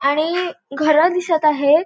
आणि घर दिसत आहेत.